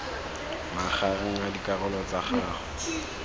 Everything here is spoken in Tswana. magareng a dikarolo tsa gago